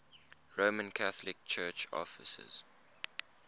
roman catholic church offices